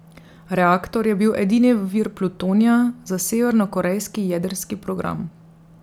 Reaktor je bil edini vir plutonija za severnokorejski jedrski program.